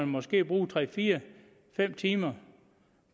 måske bruge tre fire fem timer